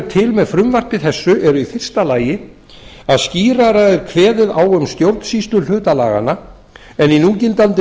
til með frumvarpi þessu eru í fyrsta lagi að skýrar er kveðið á um stjórnsýsluhluta laganna en í núgildandi